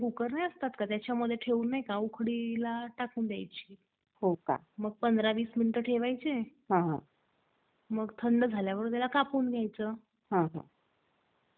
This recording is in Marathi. हो हो जायचा आहे त्याचा कडे आता त्याच्या कडे चाललोय आणि त्यांच्याकडनं वाफं आणि तयार कारण या बदल महती देतो आणि समझ जमलंच तर त्याला ठिबक वर काही करता येत काय ते बघतो. म्हणजे अजून पाणी कमी लागेल .